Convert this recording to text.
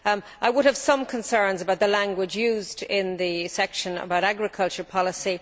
I would have some concerns about the language used in the section about agricultural policy.